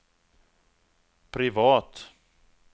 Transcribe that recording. privat